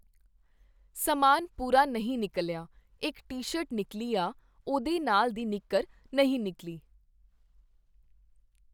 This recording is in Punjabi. ਸਮਾਨ ਪੂਰਾ ਨਹੀਂ ਨਿਕਲਿਆ, ਇੱਕ ਟੀ ਸ਼ਰਟ ਨਿਕਲੀ ਆ, ਉਹਦੇ ਨਾਲ ਦੀ ਨਿੱਕਰ ਨਹੀਂ ਨਿਕਲੀ